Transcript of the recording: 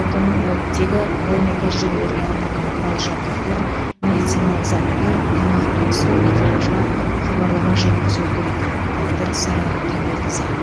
отын оттегі ғылыми тәжірибелерге арналған құрал жабдықтар медициналық заттар тамақ пен су экипажға хабарлама жеткізуі керек автор сара қабиқызы